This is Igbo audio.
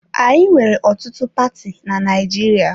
Anyị nwere ọtụtụ paati na Naịjirịa.